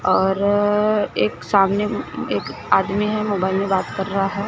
और एक सामने एक आदमी है मोबाइल में बात कर रहा है।